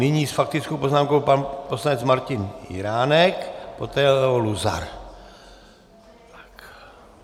Nyní s faktickou poznámkou pan poslanec Martin Jiránek, poté Leo Luzar.